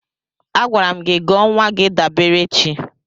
Agwara m gị gọọ nwa gị Daberechi!